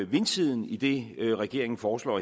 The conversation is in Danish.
vindsiden i det regeringen foreslår